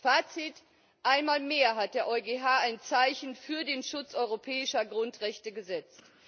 Fazit Einmal mehr hat der EuGH ein Zeichen für den Schutz europäischer Grundrechte gesetzt.